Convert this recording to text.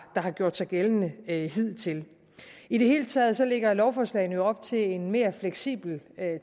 gjort sig gældende hidtil i det hele taget lægger lovforslagene op til en mere fleksibel